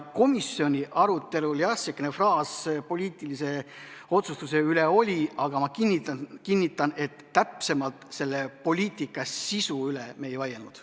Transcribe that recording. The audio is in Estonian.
Komisjoni arutelul, jah, selline fraas poliitilise otsustuse kohta oli, aga ma kinnitan, et täpsemalt selle poliitika sisu üle me ei vaielnud.